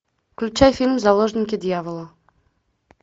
включай фильм заложники дьявола